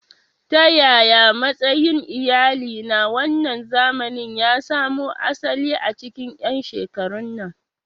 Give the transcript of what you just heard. Ta yaya matsayin iyali na wannan zamani ya samo asali a cikin 'yan shekarun nan?